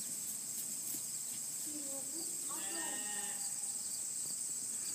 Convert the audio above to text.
серегу агаева